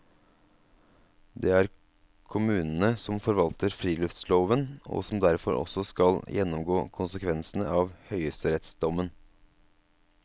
Det er kommunene som forvalter friluftsloven og som derfor også skal gjennomgå konsekvensene av høyesterettsdommen.